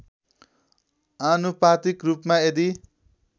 आनुपातिक रूपबाट यदि